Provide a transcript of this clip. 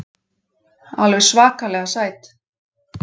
Alveg svakalega sæt.